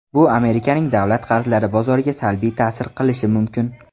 Bu Amerikaning davlat qarzlari bozoriga salbiy ta’sir qilishi mumkin.